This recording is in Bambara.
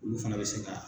Olu fana bɛ se ka